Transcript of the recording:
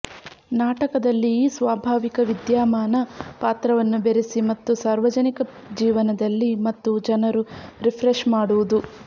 ನಾಟಕದಲ್ಲಿ ಈ ಸ್ವಾಭಾವಿಕ ವಿದ್ಯಮಾನ ಪಾತ್ರವನ್ನು ಬೆರೆಸಿ ಮತ್ತು ಸಾರ್ವಜನಿಕ ಜೀವನದಲ್ಲಿ ಮತ್ತು ಜನರು ರಿಫ್ರೆಶ್ ಮಾಡುವುದು